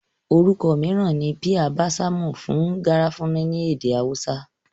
Orúkọ mìíràn ni píà básàmù fún garafuni ní èdè awúsá